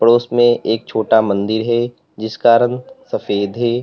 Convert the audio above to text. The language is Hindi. उसमें एक छोटा मंदिर है जिसका रंग सफेद है।